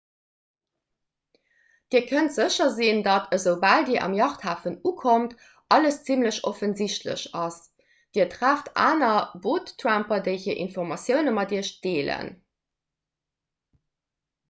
dir kënnt sécher sinn datt esoubal dir um yachthafen ukommt alles zimmlech offensichtlech ass dir trefft aner boottramper déi hir informatioune mat iech deelen